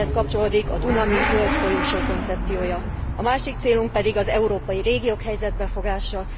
Ehhez kapcsolódik a Duna, mint zöld folyosó koncepciója. A másik célunk pedig az európai régiók helyzetbe hozása.